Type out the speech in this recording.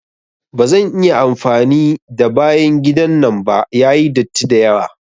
Ba zan iya amfani da bayan gidan nan ba, yayi datti dayawa.